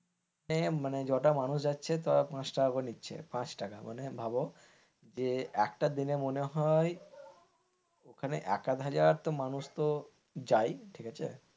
হ্যাঁ মানে জটা মানুষ যাচ্ছে তা পাঁচ টাকা করে নিচ্ছে, পাচ টাকা মানে ভাবো যে একটা দিনে মনে হয় ওখানে এক হাজার মানুষ তো যায় ঠিক আছে,